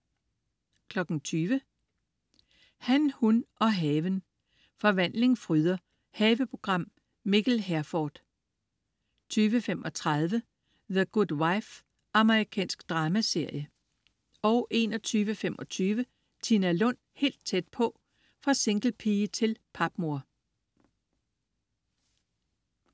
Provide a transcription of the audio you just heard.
20.00 Han, hun og haven. Forvandling fryder. Haveprogram. Mikkel Herforth 20.35 The Good Wife. Amerikansk dramaserie 21.25 Tina Lund. Helt tæt på. Fra singlepige til papmor